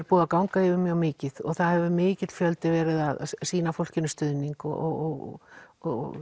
búið að ganga yfir mjög mikið það hefur mikill fjöldi verið að sýna fólkinu stuðning og og